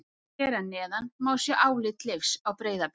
Hér að neðan má sjá álit Leifs á Breiðablik.